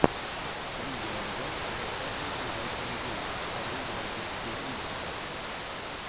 видеообзор зе сэконд юропиэн геймс вторые европейские игры